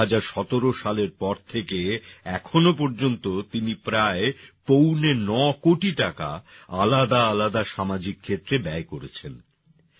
২০১৭ সালের পর থেকে এখনও পর্যন্ত তিনি প্রায় পৌনে নকোটি টাকা আলাদা আলাদা সামাজিক ক্ষেত্রে ব্যয় করেছেন